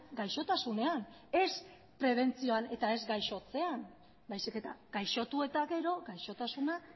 gaixotasunean ez prebentzioan eta ez gaixotzean baizik eta gaixotu eta gero gaixotasuna